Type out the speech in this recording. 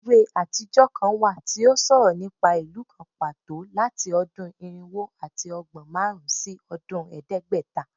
Iwe atijọ kan wa ti o sọrọ nipa ilu kan pato lati ọdun irinwo ati ọgbọn marun si ọdun ẹdẹgbẹta